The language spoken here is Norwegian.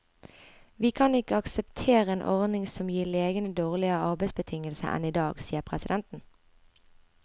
Vi kan ikke akseptere en ordning som gir legene dårligere arbeidsbetingelser enn i dag, sier presidenten.